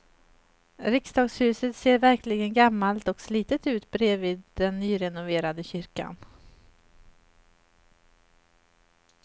Riksdagshuset ser verkligen gammalt och slitet ut bredvid den nyrenoverade kyrkan.